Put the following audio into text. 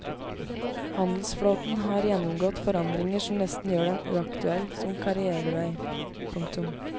Handelsflåten har gjennomgått forandringer som nesten gjør den uaktuell som karrièrevei. punktum